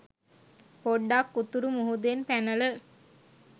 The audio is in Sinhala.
පොඩ්ඩක් උතුරු මුහුදෙන් පැනල